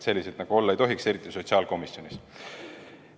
Selliseid olla ei tohiks, eriti sotsiaalkomisjonis.